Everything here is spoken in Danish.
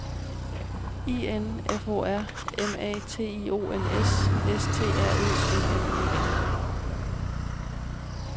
I N F O R M A T I O N S S T R Ø M M E N